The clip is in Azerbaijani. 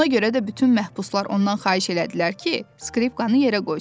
Ona görə də bütün məhbuslar ondan xahiş elədilər ki, skripkanı yerə qoysun.